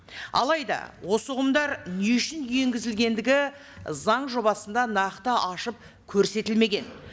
алайда осы ұғымдар не үшін енгізілгендігі заң жобасында нақты ашып көрсетілмеген